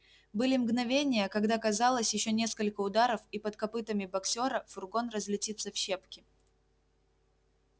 были мгновения когда казалось ещё несколько ударов и под копытами боксёра фургон разлетится в щепки